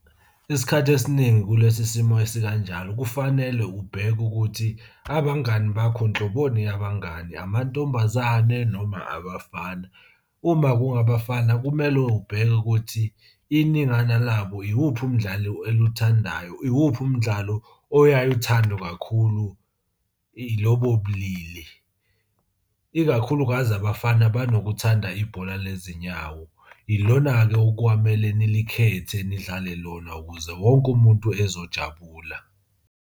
Isikhathi esiningi kulesi simo esikanjalo kufanele ubheke ukuthi abangani bakho nhloboni yabangani, amantombazane noma abafana. Uma kungabafana kumele ubheke ukuthi iningana labo iwuphi umdlalo eluthandayo. Iwuphi umdlalo oyaye uthandwe kakhulu ilobo bulili, ikakhulukazi abafana banokuthanda ibhola lezinyawo. Ilona-ke okwakumele nilikhethe nidlale lona ukuze wonke umuntu ezojabula.